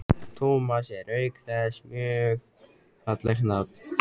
Tómas er auk þess mjög fallegt nafn.